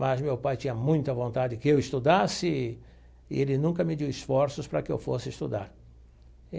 Mas meu pai tinha muita vontade que eu estudasse e ele nunca mediu esforços para que eu fosse estudar.